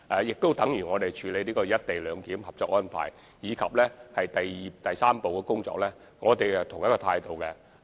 正如在處理有關"一地兩檢"的《合作安排》及第三步的工作，我們都抱有同一態度。